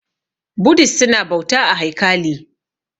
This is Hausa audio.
Budist su na bauta a haikali